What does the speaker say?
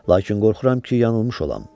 Lakin qorxuram ki, yanılmış olam.